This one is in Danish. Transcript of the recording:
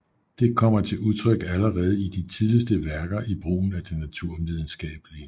Det kommer til udtryk allerede i de tidligste værker i brugen af det naturvidenskabelige